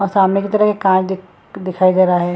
और सामने की तरफ एक कार दिख दिखाई दे रहा है।